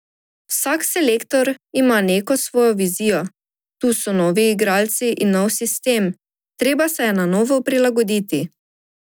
Vsak selektor ima neko svojo vizijo, tu so novi igralci in nov sistem, treba se je na novo prilagoditi.